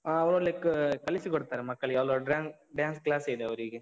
ಆ, ಒಳ್ಳೇ ಕ್~ ಕಲಿಸಿಕೊಡ್ತಾರೆ ಮಕ್ಕಳಿಗೆ, ಅಲ್ಲೊಂದ್ dance, dance class ಇದೆ ಅವ್ರಿಗೆ.